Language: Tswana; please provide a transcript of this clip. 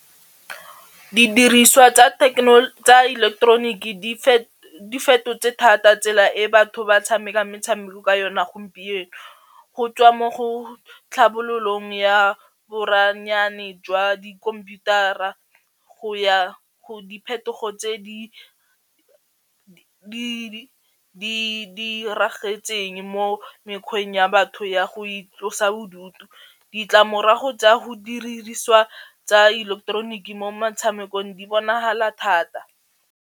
Didiriswa tsa ileketeroniki di fetotse thata tsela e batho ba tshamekang metshameko ka yona gompieno, go tswa mo go tlhabololong ya boranyane jwa di kompuitara go ya go diphetogo tse di diragetseng mo mekgweng ya batho ya go itlosa bodutu, ditlamorago tsa go tsa ileketeroniki mo metshamekong di bonagala thata.